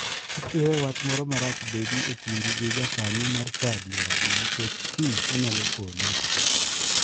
Kik iwe wach moro marach bedi e kindi gi jakanyo mar chadi wadu nikech kiny onyalo konyi.